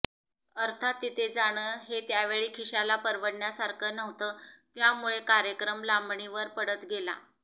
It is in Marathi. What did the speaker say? अर्थात तिथे जाणं हे त्यावेळी खिशाला परवडण्यासारखं नव्हतं त्यामुळे कार्यक्रम लांबणीवर पडत गेला